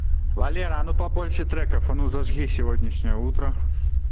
валера а ну побольше треков а ну зажги сегодняшнее утро